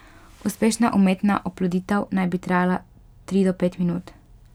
Uspešna umetna oploditev naj bi trajala tri do pet minut.